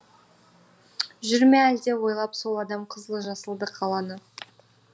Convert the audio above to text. жүр ме әлде ойлап сол адам қызылды жасыл қаланы